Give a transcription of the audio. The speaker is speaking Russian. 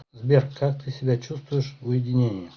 сбер как ты себя чувствуешь в уединении